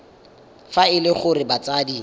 fa e le gore batsadi